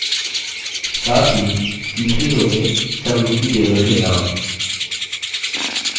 साथ ही तीसरी row में समरूपी table के names